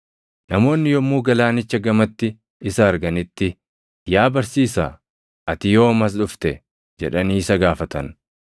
Namoonni yommuu galaanicha gamatti isa arganitti, “Yaa Barsiisaa, ati yoom as dhufte?” jedhanii isa gaafatan.